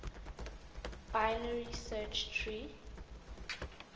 binary search tree